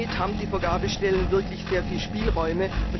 Und damit haben die Vergabestellen wirklich sehr viele Spielräume.